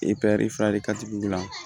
fila de ka di wula